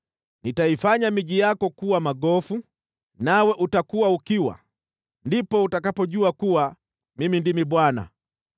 Nitaifanya miji yako kuwa magofu nawe utakuwa ukiwa. Ndipo utakapojua kuwa Mimi ndimi Bwana .